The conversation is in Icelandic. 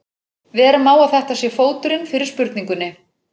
Vera má að þetta sé fóturinn fyrir spurningunni.